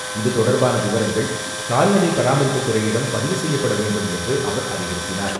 இதுதொடர்பான விவரங்கள், கால்நடை பராமரிப்புத்துறையிடம் பதிவு செய்யப்பட வேண்டும் என்று அவர் அறிவுறுத்தினார்.